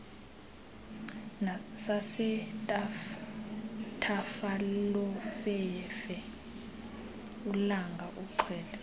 sasethafalofefe ulanga uxela